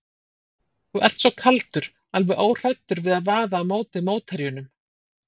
Þú ert svo kaldur, alveg óhræddur við að vaða á móti mótherjunum.